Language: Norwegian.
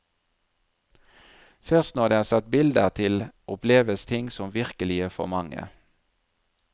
Først når det er satt bilder til oppleves ting som virkelige for mange.